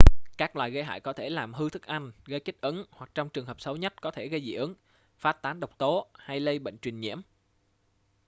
các loài gây hại có thể làm hư thức ăn gây kích ứng hoặc trong trường hợp xấu nhất có thể gây dị ứng phát tán độc tố hay lây bệnh truyền nhiễm